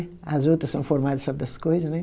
As outra são formada e sabe das coisa, né?